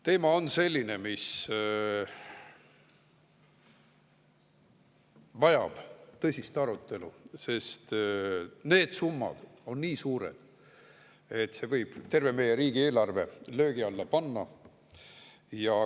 Teema on selline, mis vajab tõsist arutelu, sest need summad on nii suured, et võivad terve meie riigieelarve löögi alla panna.